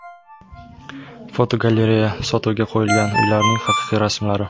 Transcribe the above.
Fotogalereya: Sotuvga qo‘yilgan uylarning haqiqiy rasmlari.